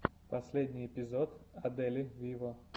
последний эпизод адели виво